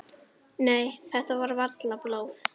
Nei, þetta er varla blóð.